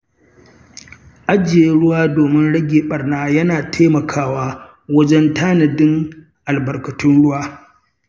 Ajiye ruwa domin rage ɓarna yana taimakawa wajen tanadin albarkatun ruwa.